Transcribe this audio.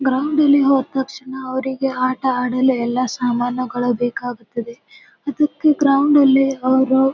ground ನಲ್ಲಿ ಹೋದ್ ತಕ್ಷಣ ಅವ್ರಿಗೆ ಆಟ ಹಾಡಲು ಎಲ್ಲ ಸಾಮಾನು ಗಳು ಬೇಕಾಗುತದೆ ಅದಕ್ಕೆ ಗ್ರೌಂಡ್ ಅಲ್ಲಿ ಅವ್ರು--